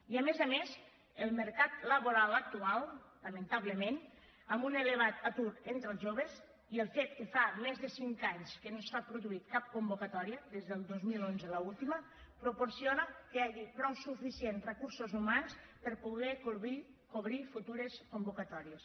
i a més a més el mercat laboral actual lamentablement amb un elevat atur entre els joves i el fet que fa més de cinc anys que no s’ha produït cap convocatòria des del dos mil onze l’última proporcionen que hi hagi prou suficients recursos humans per a poder cobrir futures convocatòries